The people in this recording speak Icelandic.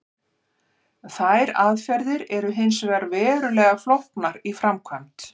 Þær aðferðir eru hins vegar verulega flóknar í framkvæmd.